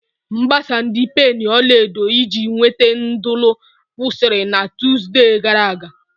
Mgbasa ndi penii ọla edo iji inwete nudulu kwụsịrị na Tuzdee gara aga.